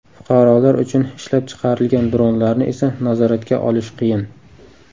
Fuqarolar uchun ishlab chiqarilgan dronlarni esa nazoratga olish qiyin.